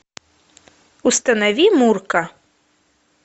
установи мурка